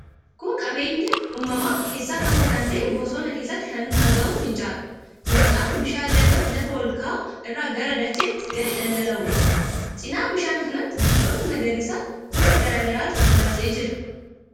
Kun qabeenya uumamaa keessaa tokko kan ta'e, bosona keessatti kan argamu finca'aadha. Finca'aan bishaan lagaa lafa ol ka'aa irraa gara dachaatti gadi dhangala'uudha. Cina bishaan kanaatiin biqiloota magariisa gosa garaa garaatu marsee jira.